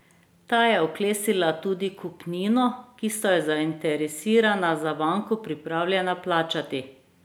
Ta je oklestila tudi kupnino, ki sta jo zainteresirana za banko pripravljena plačati.